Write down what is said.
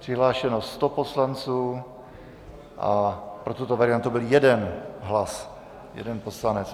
Přihlášeno 100 poslanců a pro tuto variantu byl 1 hlas, jeden poslanec.